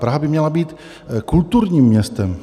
Praha by měla být kulturním městem.